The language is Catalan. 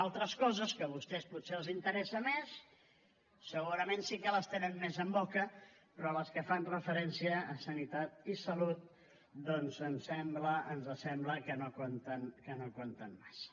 altres coses que a vostès potser els interessen més segurament sí que les tenen més en boca però les que fan referència a sanitat i salut doncs ens sembla que no compten massa